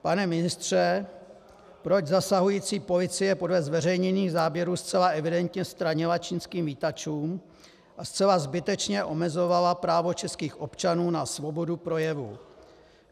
Pane ministře, proč zasahující policie podle zveřejněných záběrů zcela evidentně stranila čínským vítačům a zcela zbytečně omezovala právo českých občanů na svobodu projevu?